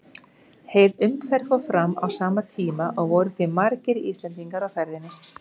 Heil umferð fór fram á sama tíma og voru því margir Íslendingar á ferðinni.